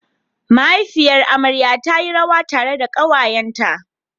Mahaifiyar amarya ta yi rawa tare da ƙawayenta.